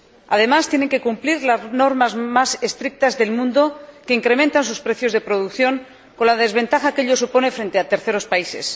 Además, tienen que cumplir las normas más estrictas del mundo, que incrementan sus precios de producción, con la desventaja que ello supone frente a terceros países.